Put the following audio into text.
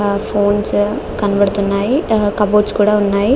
ఆ ఫోన్సే కనబడుతున్నాయి. ఆ కబోర్డ్స్ కూడా ఉన్నాయి.